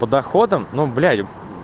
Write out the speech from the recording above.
по доходам ну блять